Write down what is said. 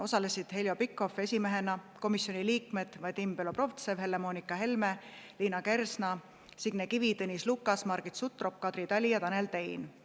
Osalesid Heljo Pikhof esimehena, komisjoni liikmed Vadim Belobrovtsev, Helle-Moonika Helme, Liina Kersna, Signe Kivi, Tõnis Lukas, Margit Sutrop, Kadri Tali ja Tanel Tein.